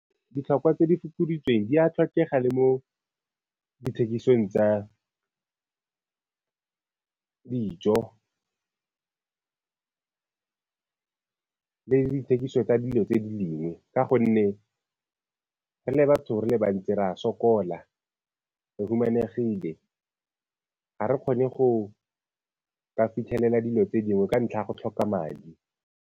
Ditlhokwa tse di fokoditsweng di a tlhokega le mo dithekisong tsa dijo le dithekiso tsa dilo tse dingwe ka gonne re le batho re le bantsi re a sokola, re humanegile, ga re kgone go ka fitlhelela dilo tse dingwe ka ntlha ya go tlhoka madi.